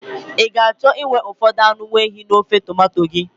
Ị ga-achọ inwe ụfọdụ anụ nwaehi n'ofe tomanto gị?